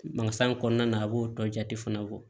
kɔnɔna na a b'o dɔ jate fana bɔ